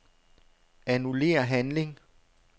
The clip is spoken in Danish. Annullér handling.